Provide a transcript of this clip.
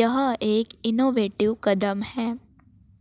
यह एक इनोवेटिव कदम है